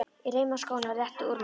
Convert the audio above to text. Ég reima skóna og rétti úr mér.